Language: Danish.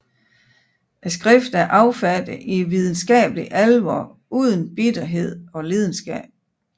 Skriftet er affattet i videnskabelig alvor uden bitterhed og lidenskab